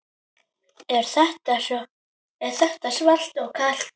Er þetta svalt og kalt?